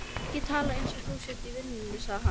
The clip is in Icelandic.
Ekki tala eins og þú sért í vinnunni, sagði hann.